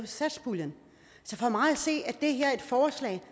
satspuljen så for mig at se er det her et forslag